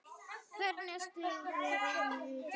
Hvernig stóð vörnin í vetur?